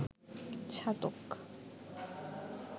Chhatak